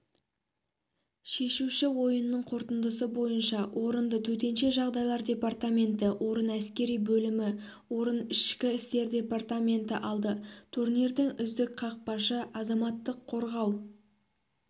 шешуші ойынның қорытындысы бойынша орынды төтенше жағдайлар департаменті орын әскери бөлімі орын ішкі істер департаменті алды турнирдің үздік қақпашы азаматтық қорғау